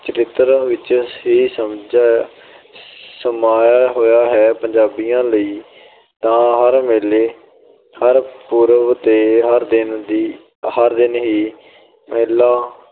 ਚਰਿੱਤਰ ਵਿੱਚ ਹੀ ਸਮਝਿਆ ਅਹ ਸਮਾਇਆ ਹੋਇਆ ਹੈ। ਪੰਜਾਬੀਆਂ ਲਈ ਤਾਂ ਹਰ ਮੇਲੇ ਹਰ ਪੁਰਬ ਤੇ ਹਰ ਦਿਨ ਹੀ ਮੇਲਾ